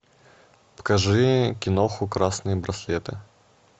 покажи киноху красные браслеты